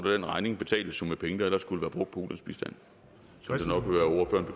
den regning betales med penge der ellers skulle brugt på ulandsbistand